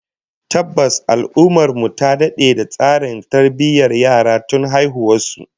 Tabbas, al'ummar mu ta dade da tsarin tarbiyyar yara tun haihuwar su